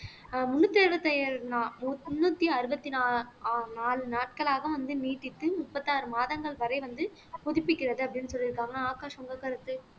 முன்னூத்தி எழுபத்தி ஏழு முன்னூத்தி அறுபத்தி நாலு நா நாலு நாட்களாக வந்து நீட்டித்து முப்பத்தாறு மாதங்கள் வரை வந்து புதுப்பிக்கிறது அப்படின்னு சொல்லி இருக்காங்க ஆகாஷ் உங்கள் கருத்து